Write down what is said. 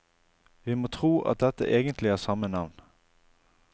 Vi må tro at dette egentlig er samme navn.